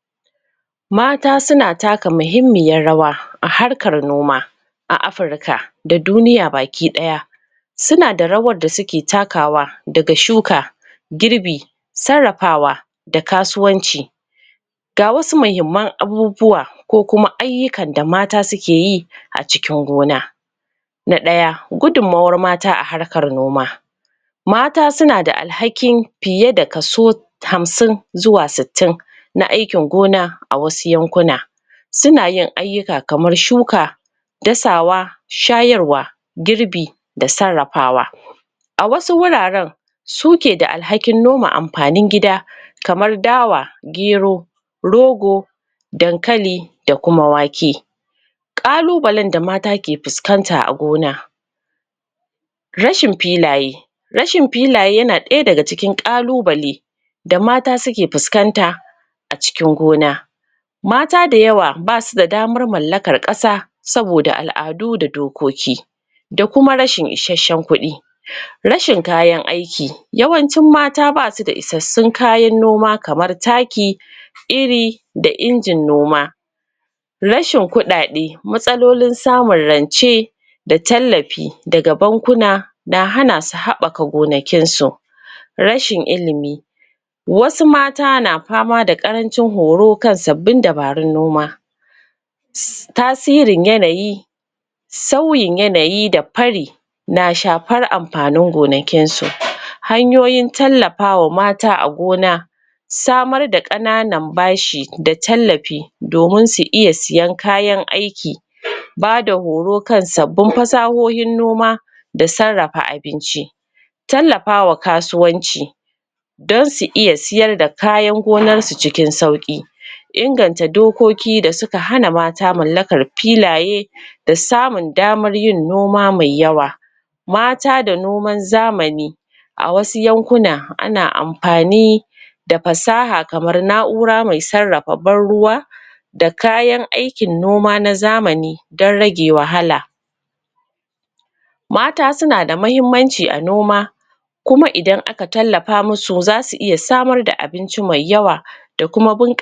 Yau zanyi bayani kan yadda ake magance damuwa, wato yadda mutum zai iya shawo kan matsanacciyar damuwa, da ke hana jin ɗaɗin rayuwa. Mene ne damuwa (depression)? Damuwa wata cuta ce ta zuciya da ƙwaƙwalwa, wadda ke sa mutum yaji bashi da kwanciyar hankali, da rasa sha'awar rayuwa, kuma ya kasance cikin baƙin ciki ko tunani mara amfani a kullum. Idan ba a magance ta ba, yana iya haddasa matsaloli da dama, ga lafiya da zamantakewa. Alamomin damuwa, rashin jin daɗin rayuwa, ko duk abinda ke faruwa. Yawan shan kai, ko kaɗaici.? Rashin bacci, ko yawan bacci fiye da ƙima. Rashin sha'awar ci, ko yawan ci fiye da ƙima. Rashin kuzari, ko gajiya ko yaushe. Yawan tunani, ko jin kamar rayuwa bata da amfani. Hanyoyin da za a bi don kula da kan ka, lokacin damuwa. Na ɗaya, neman taimako. Ba abin kunya bane, mutum ya nemi taimako daga? likitan ƙwaƙwalwa (counselor), likita, ko amintattun abokai da iyali.? Shawarar wasu, tana taimakawa sosai. Na biyu, gujewa kaɗaici. Damuwa tana ƙaruwa idan mutum ya killace kan sa, zama da mutane na da matuƙar muhimmanci, ko da kuwa ba zasu sosai ba. Na uku, rage tunani mai nauyi. Ka guji yawan tunanin abubuwan da suka wuce, ko abubuwan da basu faru ba. Ka maida hankali kan abubuwan da kake iya sarrafa su yanzu. Na huɗu,?? yin adduo'i, ga? musulmi. Dogaro ga Allah, da yin addu'a, da sallah na da ɗa nutsuwar zuciya, da samun sauƙi daga damuwa. Na biyar, neman hanyoyin farin ciki. Ka nemi? abubuwan da ke faranta maka rai, kamar karanta litattafai, sauraron waƙoƙi, na kwantar da hankali. Na shida, kula da lafiyar jiki. Mutum yana kula da cin abinci mai kyau, yin motsa jiki a ƙƙalla sau biyu a mako, da kuma samun wadataccen bacci. Lafiyar jiki, na taimakawa lafiyar ƙwaƙwalwa. Na bakwai, raba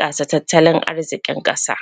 matsalar ka da amintattun mutane.